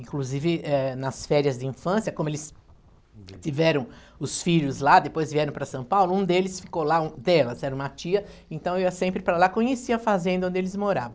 Inclusive, eh, nas férias de infância, como eles tiveram os filhos lá, depois vieram para São Paulo, um deles ficou lá, dela, era uma tia, então eu ia sempre para lá, conhecia a fazenda onde eles moravam.